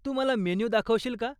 तू मला मेन्यू दाखवशील का?